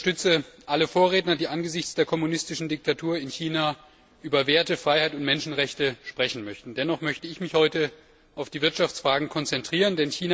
Ich unterstütze alle Vorredner, die angesichts der kommunistischen Diktatur in China über Werte, Freiheit und Menschenrechte sprechen möchten. Dennoch möchte ich mich heute auf die Wirtschaftsfragen konzentrieren.